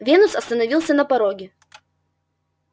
венус остановился на пороге